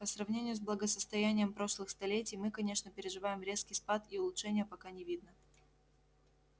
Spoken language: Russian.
по сравнению с благосостоянием прошлых столетий мы конечно переживаем резкий спад и улучшения пока не видно